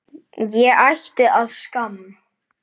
Ég ætti að skamm